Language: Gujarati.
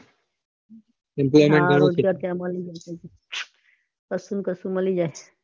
હા હારું છે ત્યાં મળી જાય કસુ ને કસું મળી જાય